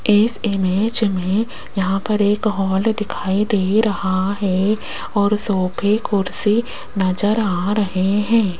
इस इमेज में यहां पर एक हॉल दिखाई दे रहा है और सोफे कुर्सी नजर आ रहे हैं।